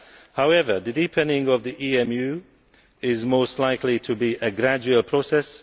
However, the deepening of EMU is most likely to be a gradual process.